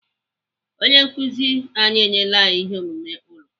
Onye nkụzi anyị enyela anyị ihe omume ụlọ.